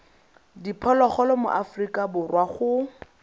diphologolo mo aforika borwa go